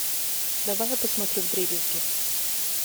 давай я посмотрю вдребезги